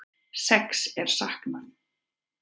Sex er saknað